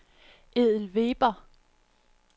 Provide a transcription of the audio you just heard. Edel Weber